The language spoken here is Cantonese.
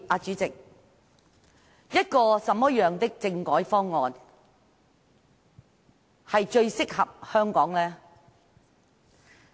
主席，一個怎麼樣的政改方案最適合香港呢？